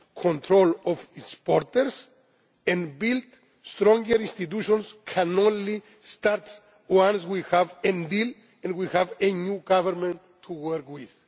establish control of its borders and build stronger institutions can only start once we have a deal and we have a new government to